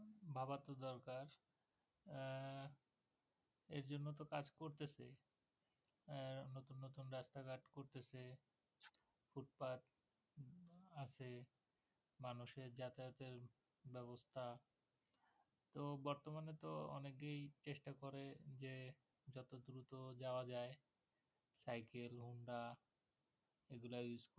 তো বর্তমানে তো অনেকেই চেষ্টা করে যে যত দ্রুত যাওয়া যায় সাইকেল হোন্ডা এগুলা ইউস করা